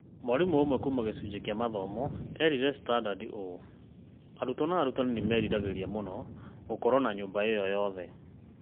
Mwarimũ ũmwe kuuma gĩcunjĩ kĩa mathomo eerire The Standard ũũ: "Arutwo na arutani nĩ meriragĩria mũno gũkorũo na nyũmba ĩyo yothe.